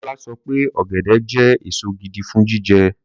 Bọ́lá sọ pé ọ̀gẹ̀dẹ̀ jẹ́ èso gidi fún jíjẹ.